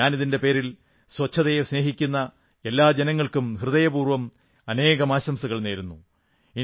ഞാൻ ഇതിന്റെ പേരിൽ സ്വച്ഛതയെ സ്നേഹിക്കുന്ന എല്ലാ ജനങ്ങൾക്കും ഹൃദയപൂർവ്വം അനേകം ആശംസകൾ നേരുന്നു